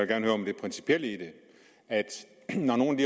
gerne høre om det principielle i det når nogle af